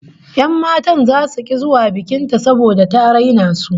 Yan matan zasu ki zuwa bikin ta saboda ta raina su